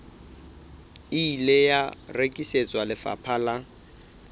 ile wa rekisetswa lefapha la